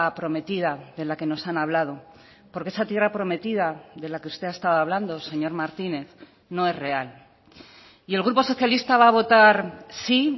prometida de la que nos han hablado porque esa tierra prometida de la que usted ha estado hablando señor martínez no es real y el grupo socialista va a votar sí